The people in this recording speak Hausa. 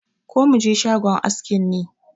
Ko mu je shagon askin ne?